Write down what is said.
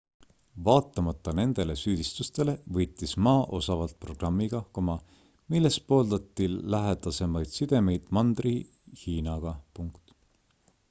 vaatamata nendele süüdistustele võitis ma osavalt programmiga milles pooldati lähedasemaid sidemeid mandri-hiinaga